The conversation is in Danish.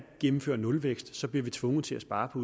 gennemfører nulvækst så bliver vi tvunget til at spare på